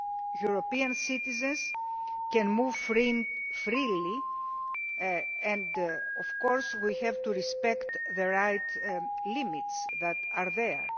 European citizens can move freely and of course we have to respect the right limits that are there.